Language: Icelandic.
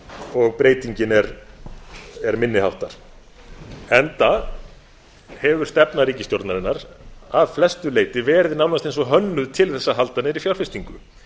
og breytingin er minni háttar enda hefur stefna ríkisstjórnarinnar að flestu leyti verið nánast eins og hönnuð til þess að halda niðri fjárfestingu